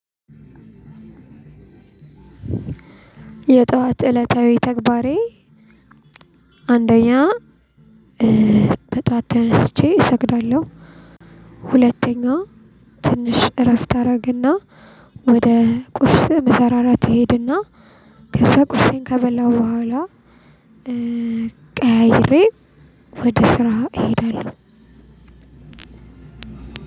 የጠዋት እለታዊ ተግባሬ አንደኛ በጠዋት ተነስቼ እሰግዳለሁ። ሁለተኛ ትንሽ እረፍት አደረግና ወደ ቁርስ መሰራራት እሄድና ከዛ ቁርሴን ከበላሁ በኋላ። ቀያይሬ ወደ ስራ እሄዳለሁ።